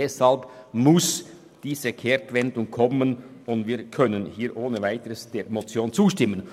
Deshalb muss diese Kehrtwende kommen, und wir können hier ohne Weiteres der Motion zustimmen.